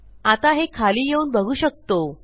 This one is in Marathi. आता हे खाली येऊन बघू शकतो